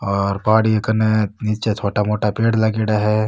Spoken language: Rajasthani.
और पहाड़ी कन्ने निचे छोटा मोटा पेड़ लागेडा है।